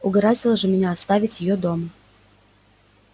угораздило же меня оставить её дома